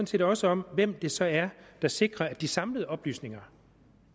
set også om hvem det så er der sikrer at de samlede oplysninger